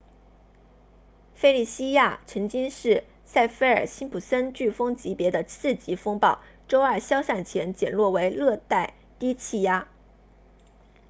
费利西亚 felicia 曾经是萨菲尔辛普森 saffir-simpson 飓风级别的4级风暴周二消散前减弱为热带低气压